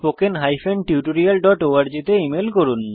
আরো জানতে contactspoken tutorialorg তে ইমেল করুন